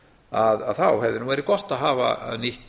að þá hefði nú verið gott að hafa nýtt